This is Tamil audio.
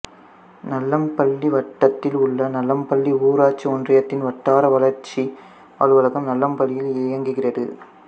நல்லம்பள்ளி வட்டத்தில் உள்ள நல்லம்பள்ளி ஊராட்சி ஒன்றியத்தின் வட்டார வளர்ச்சி அலுவலகம் நல்லம்பள்ளியில் இயங்குகிறது